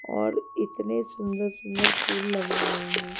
और इतने सुंदर सुंदर फूल लगे हुए हैं।